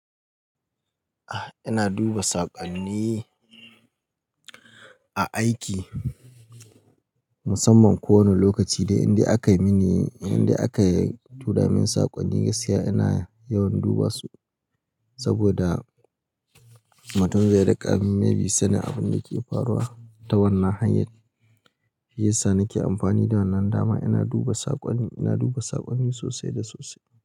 Ah, ina duba saƙonni a aiki. Musamman kowani lokaci dai indai aka yi mini, indai aka tura min saƙonni gaskiya ina yawan duba su saboda mutum zai riƙa sanin abinda ke faruwa ta wannan hanyar. Shi yasa nake amfani da wannan dama ina duba saƙonni, ina duba saƙonni sosai da sosai.